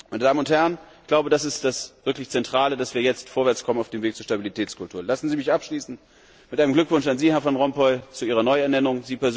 Meine Damen und Herren, ich glaube, das wirklich Zentrale ist, dass wir jetzt vorwärtskommen auf dem Weg zur Stabilitätskultur. Lassen Sie mich abschließen mit einem Glückwunsch an Sie, Herr Van Rompuy, zu Ihrer Neuernennung.